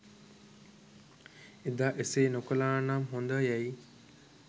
එදා එසේ නොකළානම් හොඳ යැයි